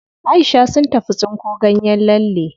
Aisha sun tafi tsinko ganyen lalle.